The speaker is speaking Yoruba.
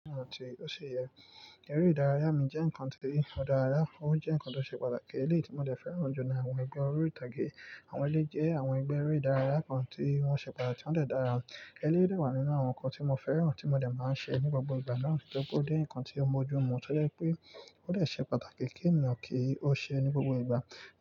Ẹ̀re ìdárayá mi jẹ́ ǹkan tí ó dára, ó jẹ́ ǹkan tó ṣe pàtàkì ní èyí tí mo dẹ̀ fẹ́ràn jù ní àwọn ìgbà orí ìtàgé. Àwọn ẹlẹ́yi, àwọn ẹgbẹ́ eré ìdárayá kan tí wọ́n ṣe pàtàkì wọ́n dẹ̀ dára. Ẹlẹ́yi de wà nínú àwọn ǹkan tí mo fẹ́ràn tí mo dẹ̀ máa ń ṣe ní gbogbo ìgbà náà, ó jẹ́ ǹkan tí ó bójú mu tó jẹ́ pé ó de ṣe pàtàkì kí ènìyàn kí ó ṣe é ní gbogbo ìgbà.